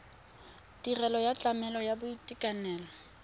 tirelo ya tlamelo ya boitekanelo